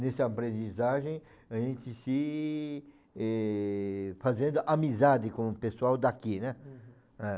Nessa aprendizagem, a gente se, eh... fazendo amizade com o pessoal daqui, né? Uhum. É.